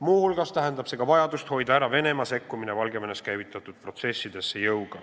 Muu hulgas tähendab see vajadust hoida ära Venemaa jõuga sekkumine Valgevenes käivitatud protsessidesse.